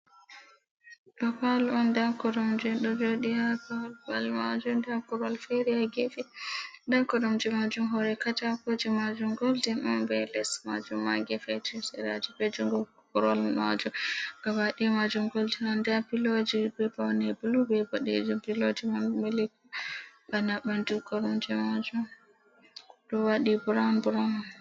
Ɗo palo on nda koromje ɗo jodi ha Babal majum, nda korowa fere ha gefe nda koromje majum hore kata kuje majum guldin on, be les majum ma be gefe be jungo koromje majum gabadaya majum goldin, nda piloji be paune blu be boɗejum piloji man milik bana bana ɓandu koromje majum ɗo waɗi brown brown.